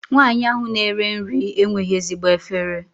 Nwaanyị ahụ na-ere nri enweghị ezigbo efere.